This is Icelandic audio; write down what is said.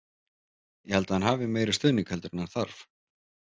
Ég held að hann hafi meiri stuðning heldur en hann þarf.